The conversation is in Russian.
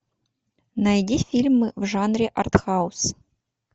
найди фильмы в жанре арт хаус